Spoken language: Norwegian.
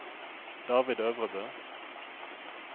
David Øvrebø